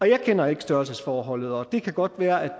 jeg kender ikke størrelsesforholdet og det kan godt være at